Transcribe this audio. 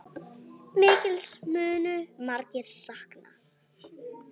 Mikils munu margir sakna.